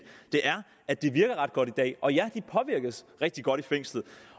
at det virker ret godt i dag og ja de påvirkes rigtig godt i fængslet